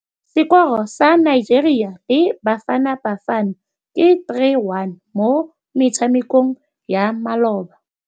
Sekôrô sa Nigeria le Bafanabafana ke 3-1 mo motshamekong wa malôba.